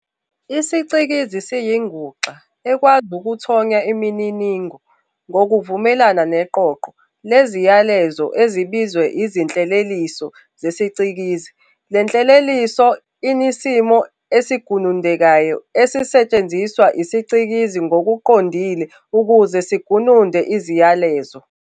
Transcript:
IsiCikizi siyinguxa ekwazi ukuthonya imininingo ngokuvumelana neqoqo leziyalezo ezibizwa izinhleleliso zesicikizi Lenhleleliso inisimo esigunundekayo esingasetshenziswa isiCikizi ngokuqondile ukuze sigununde iziyalezo.